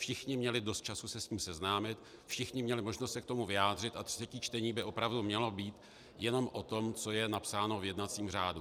Všichni měli dost času se s tím seznámit, všichni měli možnost se k tomu vyjádřit a třetí čtení by opravdu mělo být jenom o tom, co je napsáno v jednacím řádu.